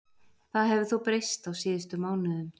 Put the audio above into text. Það hefur þó breyst á síðustu mánuðum.